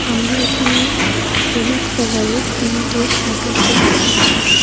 আমারা এখানে হলুদ কালার এর তিনটে শাটার দেখতে পাচ্ছি।